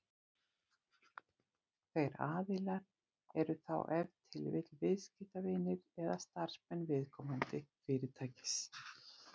Þeir aðilar eru þá ef til vill viðskiptavinir eða starfsmenn viðkomandi fyrirtækis.